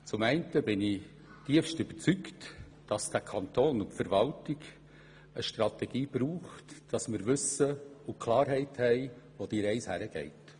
Zum einen bin ich zutiefst überzeugt, dass Kanton und Verwaltung eine Strategie brauchen, damit wir Klarheit haben, wohin die Reise geht.